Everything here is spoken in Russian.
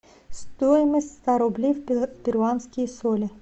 стоимость ста рублей в перуанские соли